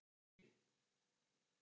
Tíðin fyrir kartöflurnar aldrei betri